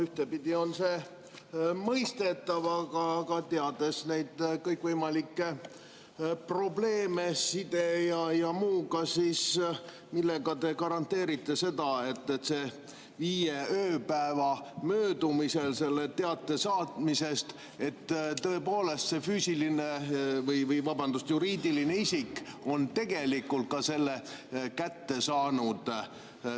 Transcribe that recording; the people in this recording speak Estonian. Ühtepidi on see mõistetav, aga teades neid kõikvõimalikke probleeme side ja muuga, millega te garanteerite, et viie ööpäeva möödumisel teate saatmisest tõepoolest juriidiline isik on tegelikult ka selle kätte saanud?